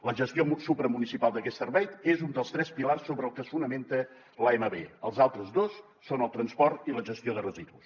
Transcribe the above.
la gestió supramunicipal d’aquests serveis és un dels tres pilars sobre els que es fonamenta l’amb els altres dos són el transport i la gestió de residus